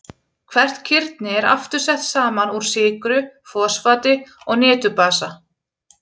Hvert kirni er aftur sett saman úr sykru, fosfati og niturbasa.